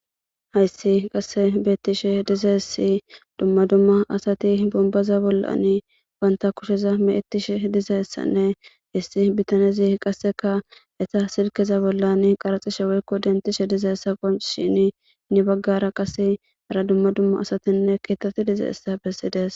hayssi qasse beettishe dizassi dumma dumma asati bombaza bollan banta kusheza meettish dizaessanne hissi bitanezi qasseka esa silkeza bollan qaraxishe woykko dentishe diza essaqo shin ni baggara qase ara dumma dumma asatinne keetati diza issa bessides